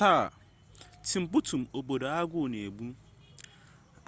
taa timbuktu obodo agụọ na-egbu